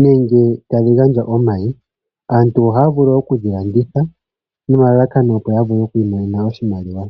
nenge tadhi gandja omayi. Aantu ohaya vulu oku dhi landitha nomalalakano opo ya vule oku imonene oshimaliwa.